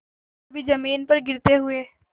कभी जमीन पर गिरते हुए